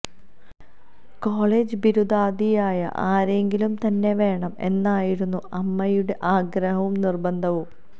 college ബിരുദധാരിയായ ആരെങ്കിലും തന്നെ വേണം എന്നായിരുന്നു അമ്മയുടെ ആഗ്രഹവും നിര്ബന്ധവും